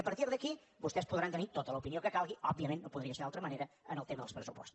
i a partir d’aquí vostès podran tenir tota l’opinió que calgui òbviament no podria ser d’altra manera en el tema dels pressupostos